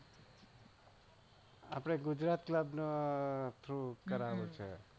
આપણે Gujarat club through કરવાનું છે.